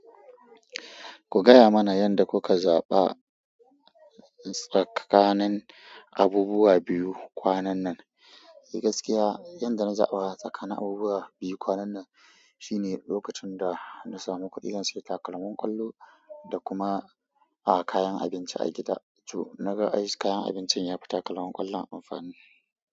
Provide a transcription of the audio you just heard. Ku gaya mana yanda kuka zaɓa tsakanin abubuwa biyu kwanan nan. Gaskiya, yanda na zaɓa tsakanin abubuwa biyu kwanan nan shine lokacin da na samu kuɗin yin sayi takalman ƙwallo da kuma a kayan abinci a gida. To, na ga ai kayan abincin ya fi takalman ƙwallon amfani.